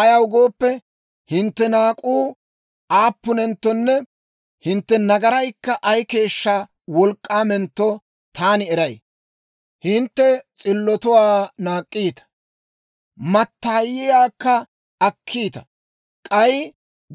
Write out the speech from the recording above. Ayaw gooppe, hintte naak'uu aappunenttonne hintte nagaraykka ay keeshshaa wolk'k'aamentto taani eray. Hintte s'illotuwaa naak'k'iita; mattaayiyaakka akkiita; k'ay